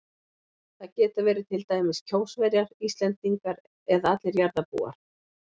Það geta verið til dæmis Kjósverjar, Íslendingar eða allir jarðarbúar.